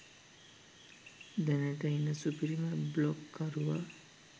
දැනට ඉන්න සුපිරිම බ්ලොග් කරුවා